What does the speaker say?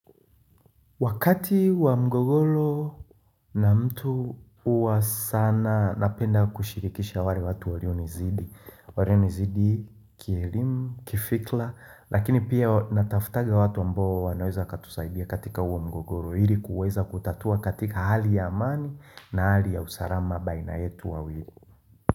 Wakati wa mgogor na mtu huwa sana napenda kushirikisha wale watu walio nizidi walio nizidi kielimu, kifikra. Lakini pia natafutaga watu ambao wanoeza katusaidia katika huo mgogoro ili kuweza kutatua katika hali ya amani na hali ya usalama baina yetu wawili.